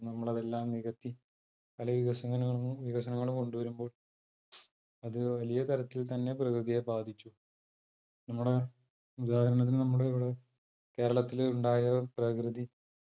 നമ്മളതെല്ലാം നികത്തി പല വികസനം വികസനങ്ങളും കൊണ്ടുവരുമ്പോൾ അത് വലിയ തരത്തിൽ തന്നെ പ്രകൃതിയെ ബാധിച്ചു നമ്മടെ ഉദാഹരണത്തിന് നമ്മളിവിടെ കേരളത്തിലുണ്ടായ പ്രകൃതി